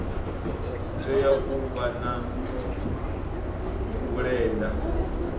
tea u vha na vhulenda